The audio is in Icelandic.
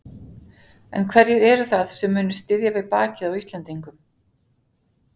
En hverjir eru það sem munu styðja við bakið á Íslendingum?